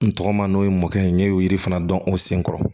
N tɔgɔma n'o ye mɔkɛ ye ne y'o yiri fana dɔn o sen kɔrɔ